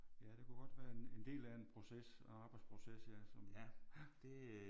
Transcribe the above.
Ja det kunne godt være en en del af en proces arbejdsproces ja som ja